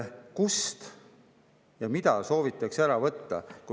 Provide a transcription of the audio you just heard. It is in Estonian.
Kust ja mida soovitakse ära võtta?